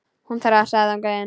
Hún þrasaði þangað til.